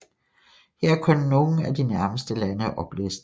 Her er kun nogle af de nærmeste lande oplistet